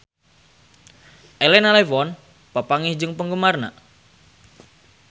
Elena Levon papanggih jeung penggemarna